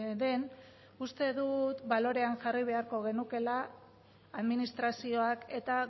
den uste dut balorean jarri beharko genukeela administrazioak eta